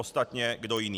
Ostatně kdo jiný.